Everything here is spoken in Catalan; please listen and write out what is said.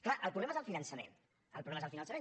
clar el problema és el finançament el problema és el finançament